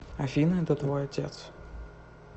афина это твой отец